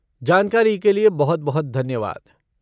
जानकारी के लिए बहुत बहुत धन्यवाद।